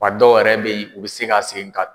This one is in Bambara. A dɔw yɛrɛ be yen, u bi se ka segin ka